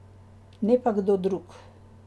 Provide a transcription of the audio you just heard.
Ne pa kdo drug.